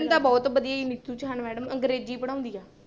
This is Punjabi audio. ਬਹੁਤ ਵਧੀਆ ਜੀ ਨਿੱਤੂ ਸਹਾਨ madam ਅੰਗਰੇਜ਼ੀ ਪੜ੍ਹਾਉਂਦੀ ਆ।